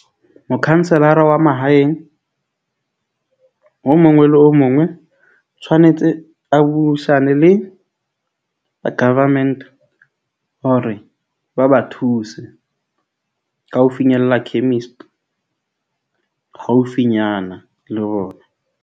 Mokhanselara wa mahaeng, o mongwe le o mongwe. O tshwanetse a buisane le government, hore ba ba thuse ka ho finyella chemist, haufinyana le ona.